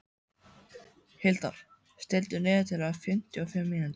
Hildar, stilltu niðurteljara á fimmtíu og fimm mínútur.